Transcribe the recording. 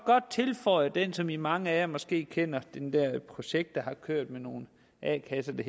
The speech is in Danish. godt tilføje det som mange af jer måske kender nemlig det der projekt som der har kørt med nogle a kasser der